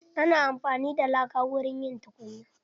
Ana amfani da laka wurin yin tukunya.